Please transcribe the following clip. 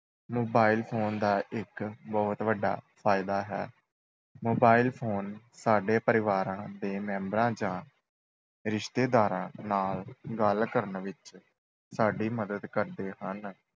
Mobile phone ਦਾ ਇੱਕ ਬਹੁਤ ਵੱਡਾ ਫਾਇਦਾ ਹੈ mobile phone ਸਾਡੇ ਪਰਿਵਾਰਾਂ ਦੇ ਮੈਂਬਰਾਂ ਜਾਂ ਰਿਸ਼ਤੇਦਾਰਾਂ ਨਾਲ ਗੱਲ ਕਰਨ ਵਿੱਚ ਸਾਡੀ ਮਦਦ ਕਰਦੇ ਹਨ।